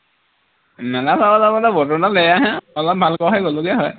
মেলা চাবলে বোলে বতৰটো বেয়াহে অলপ ভাল হোৱা হলে গলোগে হয়